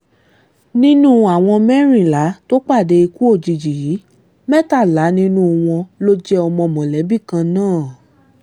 nínú àwọn mẹ́rìnlá tó pàdé ikú òjijì yìí mẹ́tàlá nínú wọn ló jẹ́ ọmọ mọ̀lẹ́bí kan náà